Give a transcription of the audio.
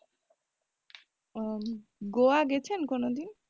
ও গোয়া গেছেন কোনোদিন?